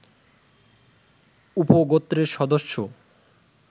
উপগোত্রের সদস্য